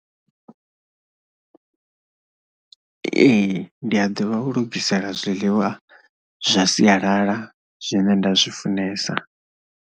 Ee, ndi a ḓivha u lugisela zwiḽiwa zwa sialala zwine nda zwi funesa.